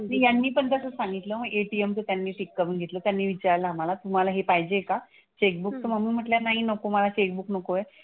अगदी यांनी पण तसंच सांगितलं. ATM चं त्यांनी टिक करून घेतलं. त्यांनी विचारलं आम्हाला तुम्हाला हे पाहिजे का चेकबुक तर मम्मी म्हंटल्या नाही नको मला चेकबुक नको आहे.